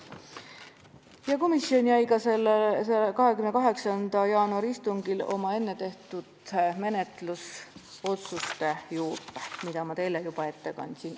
Ja komisjon jäi sellel 28. jaanuari istungil oma enne tehtud menetlusotsuste juurde, mis ma teile juba ette kandsin.